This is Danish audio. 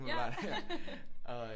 Umiddelbart og øh